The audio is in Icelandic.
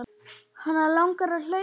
Hana langar að hlaupa.